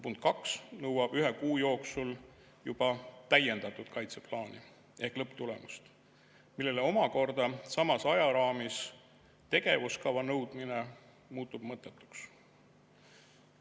Punkt 2 nõuab ühe kuu jooksul juba täiendatud kaitseplaani ehk lõpptulemust, millele omakorda samas ajaraamis tegevuskava nõudmine muutub mõttetuks.